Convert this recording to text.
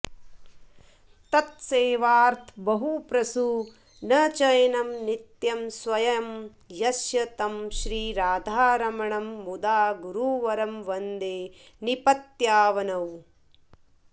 तत्सेवार्थबहुप्रसूनचयनं नित्यं स्वयं यस्य तं श्रीराधारमणं मुदा गुरुवरं वन्दे निपत्यावनौ